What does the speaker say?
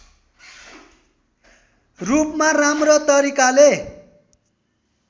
रूपमा राम्रो तरिकाले